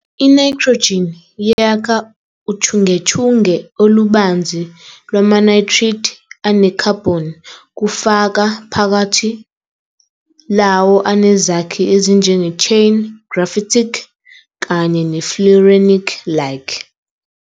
I-nitrogen yakha uchungechunge olubanzi lwama-nitride anekhabhoni, kufaka phakathi lawo anezakhi ezinjenge-chain-, graphitic-, kanye ne-fullerenic-like.